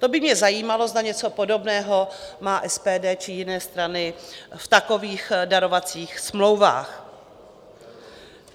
To by mě zajímalo, zda něco podobného má SPD či jiné strany v takových darovacích smlouvách.